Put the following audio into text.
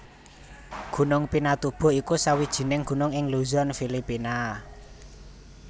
Gunung Pinatubo iku sawijining gunung ing Luzon Filipina